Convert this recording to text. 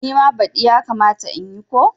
Nima badi yakamata in yi ko?